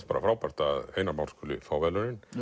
frábært að Einar Már skuli fá verðlaunin